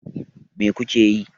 Mai ku ke yi?